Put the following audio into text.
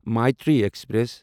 Maitree express